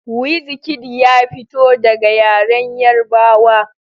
Wizkid ya fito daga yaren Yarbawa.